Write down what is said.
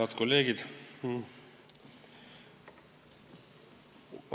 Head kolleegid!